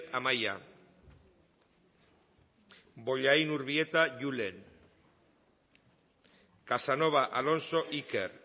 amaia bollain urbieta julen casanova alonso iker